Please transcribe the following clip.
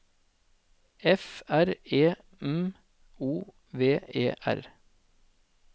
F R E M O V E R